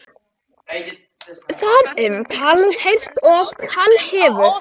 Hann hefur oft heyrt talað um það.